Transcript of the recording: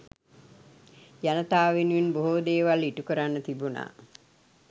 ජනතාව වෙනුවෙන් බෙහෝ දේවල් ඉටු කරන්න තිබුණා